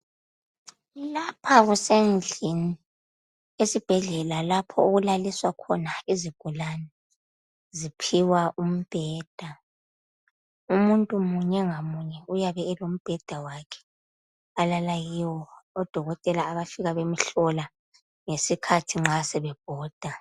lapha kusendlini esibhedlela lapho okulaliswa khona izigulane ziphiwa umbheda umuntu munye ngamunye uyabe elombheda olala kiwo odokotela abayafika bemhlola ngesikhathi sebebhoda